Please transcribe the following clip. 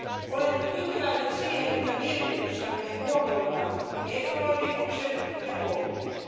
Olen tyytyväinen siihen, että mietinnössämme huomioidaan pk yritykset ja koulutus.